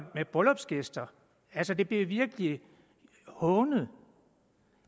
med bryllupsgæster altså det blev virkelig hånet